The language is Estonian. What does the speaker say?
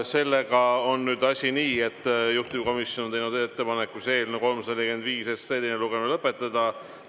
Asi on nii, et juhtivkomisjon on teinud ettepaneku eelnõu 345 teine lugemine lõpetada.